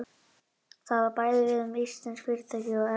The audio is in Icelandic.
Það á bæði við um íslensk fyrirtæki og erlend.